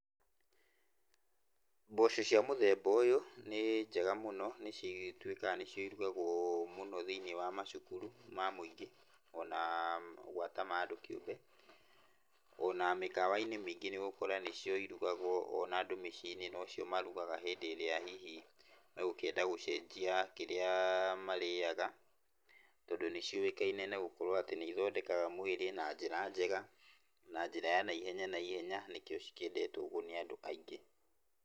Mboco cia mũthemba ũyũ nĩ njega mũno nĩ cigĩtuĩkaga nĩcio irugagwo mũno thĩinĩ wa macukuru ma mũingĩ ona gwata ma andũ kĩũmbe. Ona mĩkawa-inĩ mĩingĩ nĩ ũgũkora nĩcio irugagwo ona andũ mĩciĩ-inĩ nocio marugaga hĩndĩ ĩrĩa hihi megũkĩenda gũcenjia kĩrĩa marĩaga. Tondũ nĩ ciũĩkaine na gũkorwo atĩ nĩ ithondekaga mwĩrĩ na njĩra njega na njĩra ya naihenya, nĩkĩo cikĩendetwo ũguo nĩ andũ aingĩ.